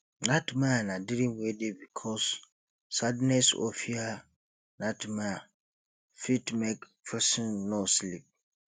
nightmare na dream wey dey cause sadness or fear nightmare fit make person no sleep